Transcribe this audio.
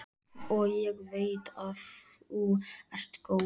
Og ég veit að þú ert góð.